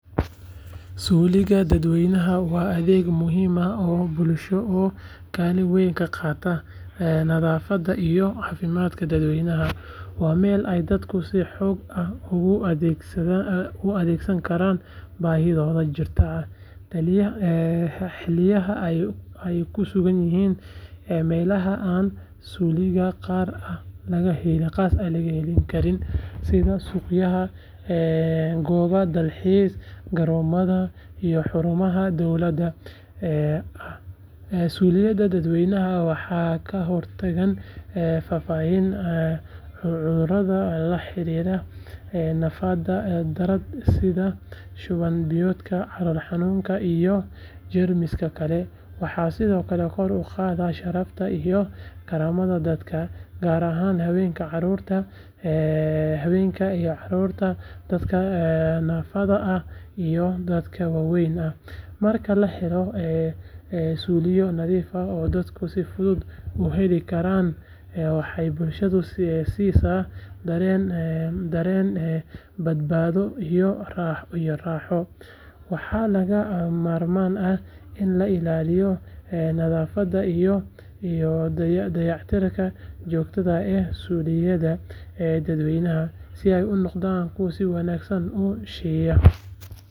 Suuliga dadweynaha waa adeeg muhiim ah oo bulsho oo kaalin weyn ka qaata nadaafadda iyo caafimaadka dadweynaha. Waa meel ay dadku si xor ah ugu adeegsan karaan baahiyahooda jirka xilliyada ay ku sugan yihiin meelaha aan suuliyo gaar ah laga heli karin sida suuqyada, goobo dalxiis, garoomada iyo xarumaha dowliga ah. Suuliyada dadweynaha waxay ka hortagaan faafidda cudurrada la xiriira nadaafad darrada sida shuban biyoodka, calool xanuunka iyo jeermisyada kale. Waxaa sidoo kale kor u qaadaan sharafta iyo karaamada dadka, gaar ahaan haweenka, carruurta, dadka naafada ah iyo dadka waayeelka ah. Marka la helo suuliyo nadiif ah oo dadku si fudud u heli karaan, waxay bulshada siisaa dareen badbaado iyo raaxo. Waxaa lagama maarmaan ah in la ilaaliyo nadaafadda iyo dayactirka joogtada ah ee suuliyada dadweynaha si ay u noqdaan kuwo si wanaagsan u shaqeeya.